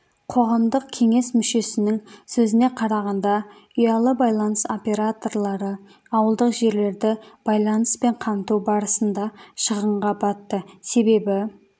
қоғамдық кеңес мүшесінің сөзіне қарағанда ұялы байланыс операторлары ауылдық жерлерді байланыспен қамту барысында шығынға батты себебі